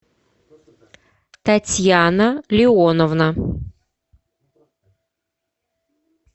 татьяна леоновна